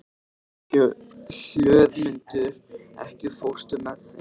Hlöðmundur, ekki fórstu með þeim?